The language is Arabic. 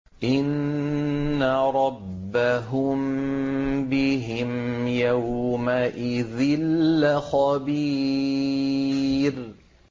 إِنَّ رَبَّهُم بِهِمْ يَوْمَئِذٍ لَّخَبِيرٌ